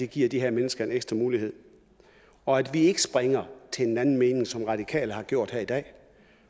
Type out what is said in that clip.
give de her mennesker en ekstra mulighed og at vi ikke springer til en anden mening som de radikale har gjort her i dag